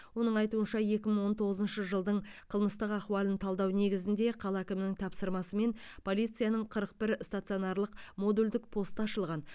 оның айтуынша екі мың он тоғызыншы жылдың қылмыстық ахуалын талдау негізінде қала әкімінің тапсырмасымен полицияның қырық бір стационарлық модульдік посты ашылған